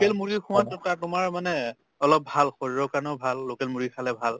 কেল মুৰ্গী খোৱা টো তাৰ তোমাৰ মানে অলপ ভাল শৰীৰৰ কাৰণেও ভাল local মুৰ্গী খালে ভাল